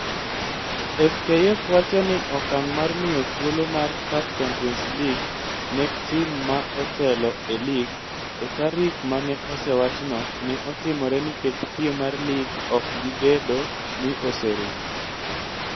FKF wacho ni okang' mar miyo thuolo mar CAF Champions League ne tim ma otelo e lig e tarik ma ne osewachno ne otimore nikech piem mar lig ok bibedo ni oserumo.